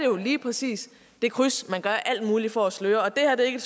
jo lige præcis det kryds man gør alt muligt for at sløre det her er ikke